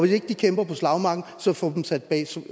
ikke de kæmper på slagmarken få dem sat bag